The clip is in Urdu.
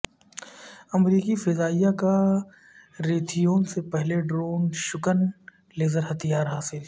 امریکی فضائیہ کا ریتھیون سے پہلا ڈرون شکن لیزر ہتھیار حاصل